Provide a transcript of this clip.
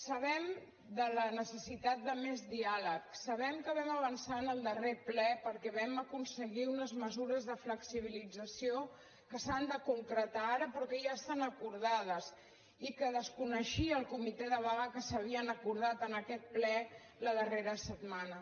sabem de la necessitat de més diàleg sabem que vam avançar en el darrer ple perquè vam aconseguir unes mesures de flexibilització que s’han de concretar ara però que ja estan acordades i que desconeixia el comitè de vaga que s’havien acordat en aquest ple la darrera setmana